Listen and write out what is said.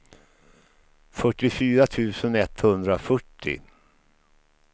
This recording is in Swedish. fyrtiofyra tusen etthundrafyrtio